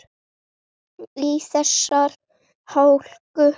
Í þessari hálku?